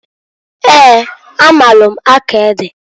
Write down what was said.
Eeǃ A maalụ akọ ede.